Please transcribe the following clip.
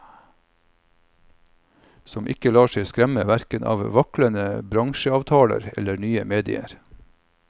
Som ikke lar seg skremme hverken av vaklende bransjeavtaler eller nye medier.